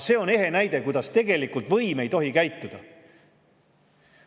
See on ehe näide, kuidas tegelikult võim ei tohi käituda.